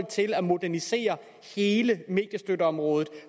til at modernisere hele mediestøtteområdet